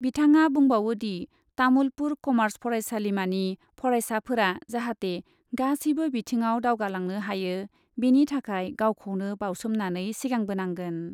बिथाङा बुंबावो दि, तामुलपुर कमार्च फरायसालिमानि फरायसाफोरा जाहाते गासैबो बिथिङाव दावगालांनो हायो, बेनि थाखाय गावखौनो बाउसोमनानै सिगांबोनांगोन।